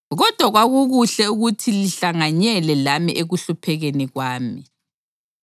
Kodwa kwakukuhle ukuthi lihlanganyele lami ekuhluphekeni kwami.